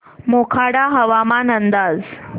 मोखाडा हवामान अंदाज